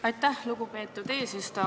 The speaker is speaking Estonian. Aitäh, lugupeetud eesistuja!